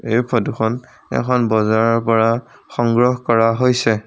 এই ফটোখন এখন বজাৰৰ পৰা সংগ্ৰহ কৰা হৈছে।